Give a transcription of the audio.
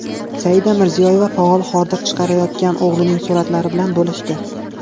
Saida Mirziyoyeva faol hordiq chiqarayotgan o‘g‘lining suratlari bilan bo‘lishdi .